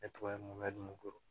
Ne tɔgɔ ye mun bɛ koro